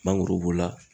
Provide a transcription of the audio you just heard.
Mangoro b'o la